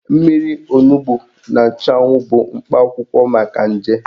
Mmiri onugbo na nchụanwụ bụ mkpa akwụkwọ maka nje.